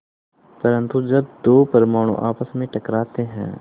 परन्तु जब दो परमाणु आपस में टकराते हैं